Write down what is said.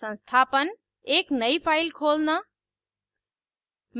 संस्थापन एक नयी file खोलना